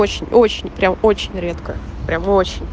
очень очень прям очень редко прям очень